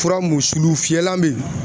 Fura mun sulu fiyɛlan bɛ yen